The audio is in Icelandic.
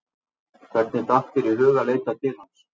Hvernig datt þér í hug að leita til hans?